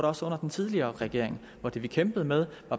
også under den tidligere regering hvor det vi kæmpede med